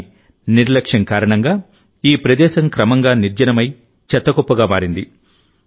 కానీ నిర్లక్ష్యం కారణంగాఈ ప్రదేశం క్రమంగా నిర్జనమై చెత్త కుప్పగా మారింది